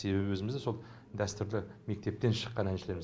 себебі өзіміз сол дәстүрлі мектептен шыққан әншілерміз